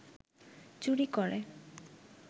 চুরি করে